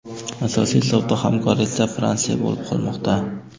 Asosiy savdo hamkori esa Fransiya bo‘lib qolmoqda.